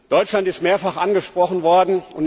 Deutschland ist mehrfach angesprochen worden.